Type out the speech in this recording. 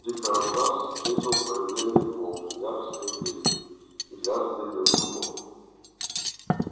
дикобраз встретил появление волка яростным визгом и лязганьем зубов